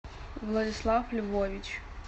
владислав львович